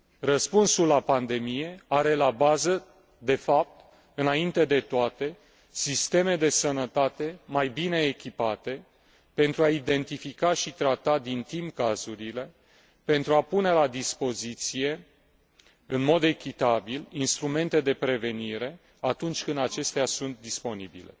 Răspunsul la pandemie are la bază de fapt, înainte de toate, sisteme de sănătate mai bine echipate pentru a identifica și trata din timp cazurile, pentru a pune la dispoziție, în mod echitabil, instrumente de prevenire atunci când acestea sunt disponibile.